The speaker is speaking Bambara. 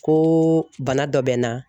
Ko bana dɔ bɛ n na